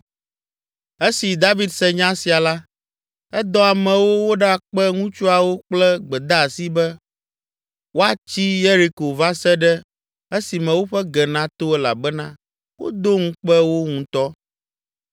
Esi David se nya sia la, edɔ amewo woɖakpe ŋutsuawo kple gbedeasi be woatsi Yeriko va se ɖe esime woƒe ge nato elabena wodo ŋukpe wo ŋutɔ.